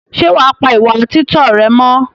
Ṣé wàá pa ìwà títọ́ rẹ mọ́?